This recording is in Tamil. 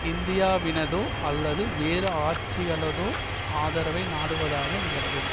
இந்தியாவினதோ அல்லது வேறு ஆட்சிகளதோ ஆதரவை நாடுவதாக விளங்கும்